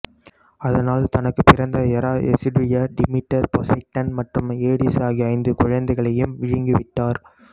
அதனால் தனக்குப் பிறந்த எரா எசுடியா டிமிடர் பொசைடன் மற்றும் ஏடிசு ஆகிய ஐந்து குழந்தைகளையும் விழுங்கி விட்டார்